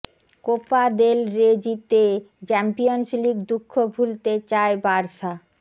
Copa del Rey জিতে Champions League দুঃখ ভুলতে চায় বার্সা